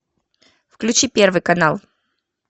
включи первый канал